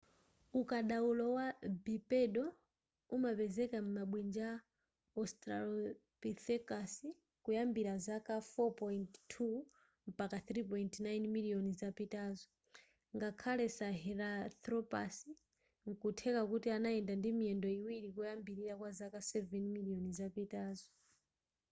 ukadaulo wa bipedal umapezeka m'mabwinja a australopithecus kuyambira zaka 4.2-3.9 miliyoni zapitazo ngakhale sahelanthropus nkutheka kuti anayenda ndi miyendo iwiri koyambilira kwa zaka 7 miliyoni zapitazo